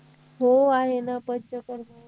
हो आहे ना पंचकर्म